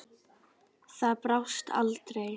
Það brást aldrei.